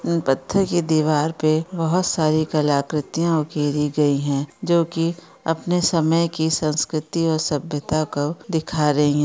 इन पत्थर की दीवार पे बहुत सारी कलाकार्तियां उकेरी गई है जो की अपने समय की संस्कृति और सभ्यताएं को दिखा रही है।